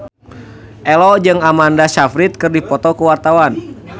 Ello jeung Amanda Sayfried keur dipoto ku wartawan